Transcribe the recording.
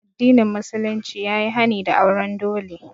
Addinin musulunci ya yi hani da auren dole